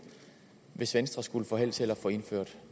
hvis venstre skulle få held til at få indført